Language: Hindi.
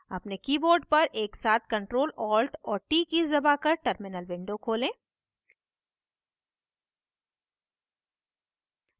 अपने keyboard पर एक साथ ctrl alt और t कीज़ दबाकर terminal खोलें